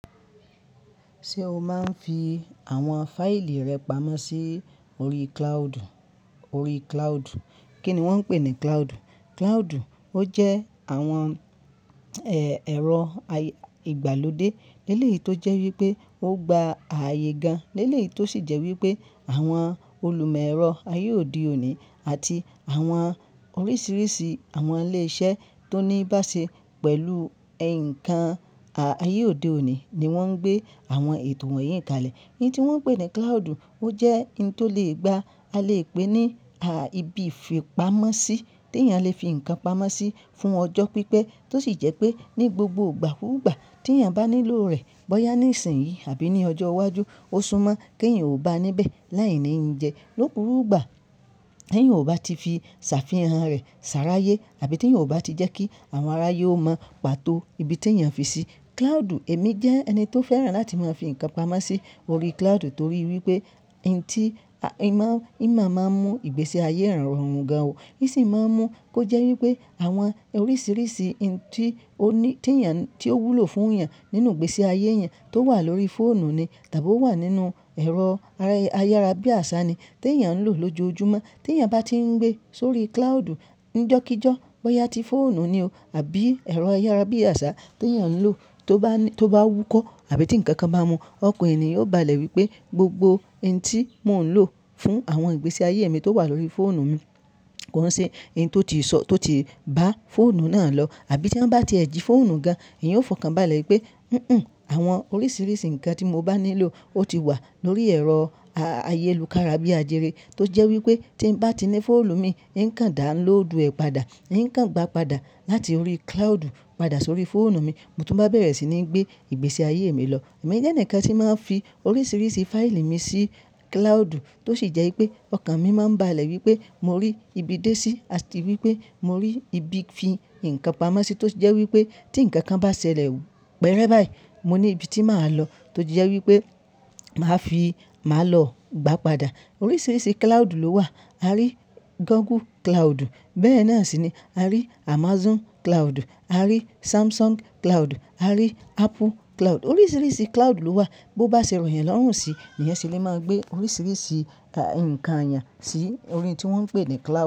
Ṣé o máa ń fi àwọn fáìlì rẹ pamọ́ sí orí cloud? Orí cloud. Kí ni wọ́n ń pè ní cloud? Cloud ó jẹ́ àwọn ẹ̀rọ ìgbàlódé eléyìí tó jẹ́ wípé ó gba ààyè gan léleyìí tó sì jẹ́ wípé àwọn olùmẹ́rọ̀ ayé òde òní àti àwọn oríṣìíríṣìí àwọn ilé iṣẹ́ tó níí bá ṣe pẹ̀lú ǹkan ayé òde òní ni wọ́n ń gbé àwọn ètò wọn yín kalẹ̀. Eyín tí wọ́n ń pè ní cloud ó jẹ́ ohun tó lè gba, a lè pè é ní ibi ìfipamọ́sí tí èèyàn lè fi ǹkan pamọ́ sí fún ọjọ́ pípẹ́ tó sì jẹ́ pé ní gbogbo ìgbà kúùgbà tí èèyàn bá nílò rẹ̀ bóyá ní ìsìn yìí àbí ní ọjọ́ iwájú, ó súmọ́ kí èèyàn ò bá níbẹ̀ láìní yiǹjẹ́ lókùú ìgbà tí èèyàn ò bá ti fi sàfihàn rẹ̀ sàráyé àbí tí èèyàn ò bá ti jẹ́ kí àwọn ará ayé ó mọ pàtó ibi tí èèyàn fi sí. Cloud, èmi jẹ́ ẹni tó fẹ́ràn láti máa fi ǹkan pamọ́ sí orí cloud torí wípé ohun tí ìmọ̀ máa ń mú ìgbésí ayé èèyàn rọrùn gan o, sì máa ń mú kó jẹ́ wípé àwọn oríṣìíríṣìí ohun tí ó ní, tí èèyàn, tí ó wúlò fún èèyàn nínú ìgbésí ayé rẹ̀ tó wà lórí fóònù ni tàbí ó wà nínú ẹ̀rọ ayárabíàṣá ni tí èèyàn ń lò lójoojúmọ́. Tí èèyàn bá ti ń gbé sórí cloud, njọ́kíjọ́ bóyá tí fóònù ni o àbí ẹ̀rọ ayárabíàṣá tí èèyàn ń lò tó bá wúkọ́ àbí tí ǹkan kan bá mu, ọkàn èèyàn yóò bá lẹ̀ wípé gbogbo ohun tí mò ń lò fún àwọn ìgbésí ayé mi tó wà lórí fóònù mi kò hán ṣe ohun tí ó ti sọ, tó ti bá fóònù náà lọ. Àbí tí wọ́n bá tiẹ̀ ji fóònù gan, èèyàn ò fọkàn bá lẹ̀ wípé "hínhìn, àwọn oríṣìíríṣìí ǹkan tí mo bá nílò ó ti wà lórí ẹ̀rọ ayélùkára bíàjẹrẹ" tó jẹ́ wípé tí ń bá ti ní fóònù mi, n ó kàn dán lóòdù ẹ padà, n ó kàn gba padà láti orí cloud padà sórí fóònù mi, mo tún bá bẹ̀rẹ̀ sí ní gbé ìgbésí ayé mi lọ. Èmi jẹ́ ǹkan tí màá ń fi oríṣìíríṣìí fáìlì mi sí cloud tó sì jẹ́ wípé ọkàn mi máa ń bá lẹ̀ wípé mo rí ibi dé sí, àti wípé mo rí ibi fi ǹkan pamọ́ sí tó jẹ́ wípé tí ǹkan kan bá ṣẹlẹ̀ wù pẹrẹ báyìí, mo ní ibi tí màá lọ tójẹ́ wípé màá fi, màá lọ gbă padà. Oríṣìíríṣìí cloud ló wà. A rí Google cloud, bẹ́ẹ̀ náà sì ni a rí Amazon cloud, a rí Samsung cloud, a rí Apple cloud. Oríṣìíríṣìí cloud ló wà bó bá ṣe ròyàn lọ́rùn sí lëyăn se lè máa gbé oríṣìíríṣìí ǹkan eyàn sí orí ohun tí wọ́n ń pè ní cloud.